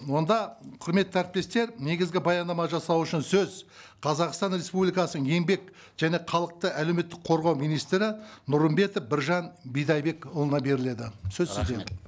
онда құрметті әріптестер негізгі баяндама жасау үшін сөз қазақстан республикасының еңбек және халықты әлеуметтік қорғау министрі нұрымбетов біржан бидайбекұлына беріледі сөз сізде